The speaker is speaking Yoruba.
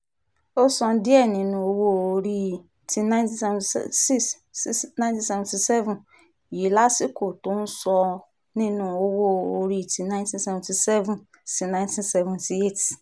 ó san díẹ̀ nínú owó-orí ti nineteen seventy six sí nineteen seventy seven yìí lásìkò tó ń san nínú owó-orí ti nineteen seventy seven sí nineteen seventy eight